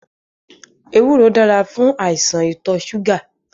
Ewúro dára fún àìsàn ìtọṣúgà